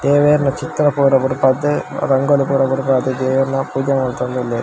ದೇವೆರ್ನ ಚಿತ್ರ ಪೂರ ಬುಡ್ಪದ್ ರಂಗೋಲಿ ಪೂರ ಬುಡ್ಪದ್ ದೇವೆರ್ನ ಪೂಜೆ ಮಂತೊಂದುಲ್ಲೆರ್.